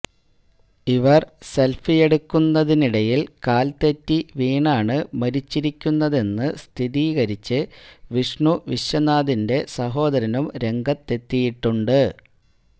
ഇവർ സെൽഫിയെടുക്കുന്നതിനിടയിൽ കാൽ തെറ്റി വീണാണ് മരിച്ചിരിക്കുന്നതെന്ന് സ്ഥിരീകരിച്ച് വിഷ്ണു വിശ്വനാഥിന്റെ സഹോദരനും രംഗത്തെത്തിയിട്ടുണ്ട്